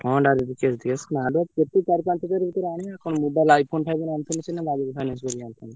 ହଁ direct cash ଦେଇକି ଆସିବ ଆରେ କେତେ? ଚାରି ପାଞ୍ଚ ହଜାରେ ଭିତରେ ଆଣିବା କଣ mobile iPhone iPhone ଆଣିଥିଲେ ସିନା Bajaj finance କରି ଆଣିଥାନ୍ତେ।